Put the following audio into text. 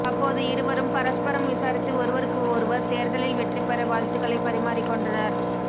அப்போது இருவரும் பரஸ்பரம் விசாரித்து ஒருவருக்கு ஒருவர் தேர்தலில் வெற்றிபெற வாழ்த்துக்களை பரிமாறிக்கொண்டனர்